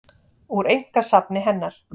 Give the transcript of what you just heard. Úr einkasafni hennar.